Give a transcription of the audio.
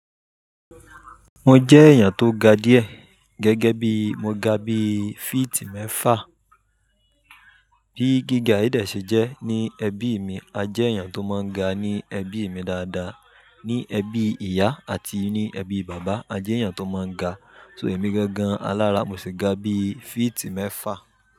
Mo jẹ́ èèyàn tó ga díẹ̀, gẹ́gẹ́ bí mo ga bí feet mẹ́fà. Bí gíga yi dẹ̀ ṣe jẹ́ ní ẹbí mi, a jẹ́ èèyàn tó máa ń ga ní ẹbí mi dáadáa. Ni ẹbí ìyá àti ní ẹbí bàbá, a jẹ́ èèyàn tó máa ń ga. So èmi gangan, alára mo sì ga bí feet mẹ́fà.